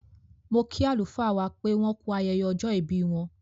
Mo kí àlùfáà wá pé wọ́n kú ayẹyẹ ọjọ́ ìbí wọ́n.